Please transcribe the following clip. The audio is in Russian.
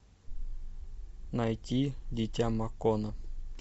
найти дитя макона